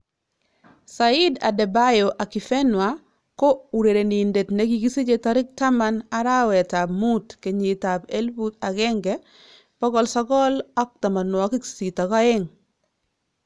Saheed Adebayo Akifenwa ko urerenindet nekikisije 10 arawet ab muut 1982.